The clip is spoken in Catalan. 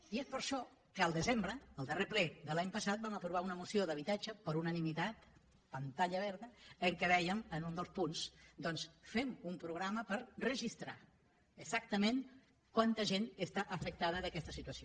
i és per això que el desembre el darrer ple de l’any passat vam aprovar una moció d’habitatge per unanimitat pantalla verda en què dèiem en un dels punts doncs fem un programa per registrar exactament quanta gent està afectada per aquesta situació